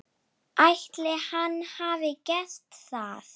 Ætli hann hafi gert það?